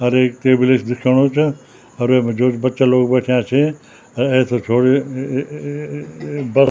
अर एक टेबले स दिख्योणु चा और वेमा जो च बच्चा लोग बैठ्याँ छै अर ऐथर छोड़ी अ-अ-अ-अ बर --